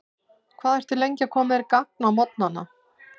Hvað ertu lengi að koma þér í gagn á morgnana?